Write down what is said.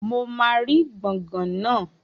Mo máa rí gbọ̀ngàn naa